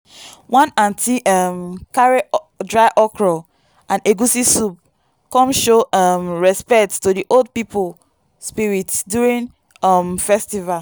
one aunty um carry dry okro and egusi soup come show um respect to the old people spirit during um festival.